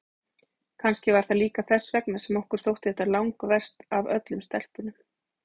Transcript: Kannski var það líka þess vegna sem okkur þótti þetta langverst af öllum stelpunum.